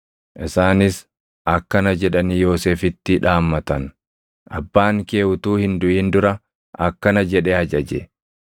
Isaanis akkana jedhanii Yoosefitti dhaammatan; “Abbaan kee utuu hin duʼin dura akkana jedhee ajaje;